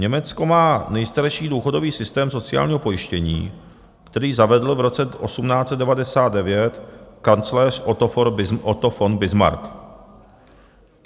Německo má nejstarší důchodový systém sociálního pojištění, který zavedl v roce 1899 kancléř Otto von Bismarck.